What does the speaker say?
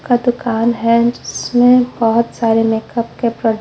का दुकान हैं जिसमें बहुत सारे मेकअप के प्र--